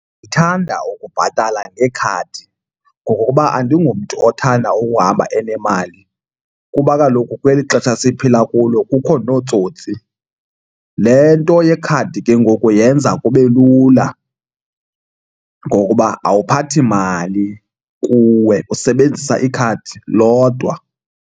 Ndithanda ukubhatala ngekhadi ngokokuba andingomntu othanda ukuhamba enemali kuba kaloku kweli xesha siphila kulo kukho nootsotsi. Le nto yekhadi ke ngoku yenza kube lula ngokuba awuphathi mali kuwe, usebenzisa ikhadi lodwa.